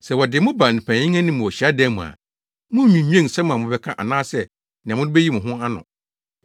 “Sɛ wɔde mo ba mpanyin anim wɔ hyiadan mu a, munnnwinnwen nsɛm a mobɛka anaasɛ nea mode beyi mo ho ano no ho,